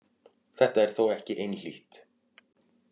Þetta er þó ekki einhlítt.